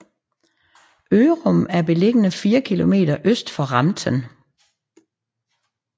Ørum er beliggende fire kilometer øst for Ramten